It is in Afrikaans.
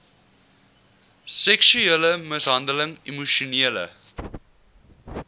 seksuele mishandeling emosionele